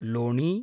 लोणी